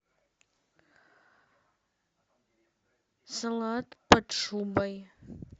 салат под шубой